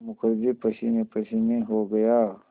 मुखर्जी पसीनेपसीने हो गया